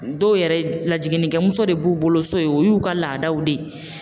Dɔw yɛrɛ lajigininkɛ muso de b'u bolo so ye o y'u ka laadaw de ye